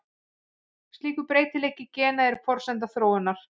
Slíkur breytileiki gena er forsenda þróunar.